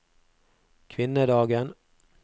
kvinnedagen